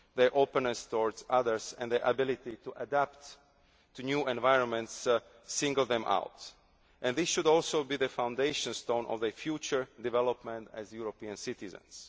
Europe. Their openness towards others and their ability to adapt to new environments single them out. This should also be the foundation stone of their future development as European citizens.